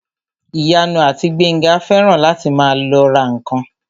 Ìyanu àti Gbénga fẹ́ràn láti máa lọ ra ǹkan